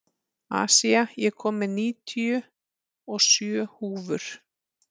Asía, ég kom með níutíu og sjö húfur!